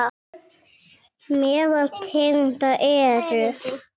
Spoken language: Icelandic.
Meðal tegunda eru